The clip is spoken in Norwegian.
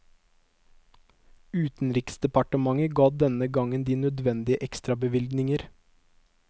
Utenriksdepartementet ga denne gangen de nødvendige ekstrabevilgninger.